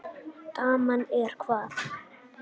Daman er hvað.